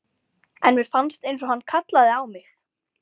En mér fannst einsog hann kallaði á mig.